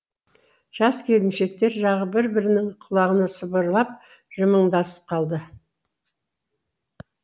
жас келіншектер жағы бір бірінің құлағына сыбырлап жымыңдасып қалды